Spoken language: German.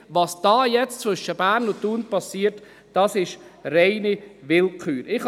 Was da jetzt zwischen Bern und Thun geschieht, das ist reine Willkür.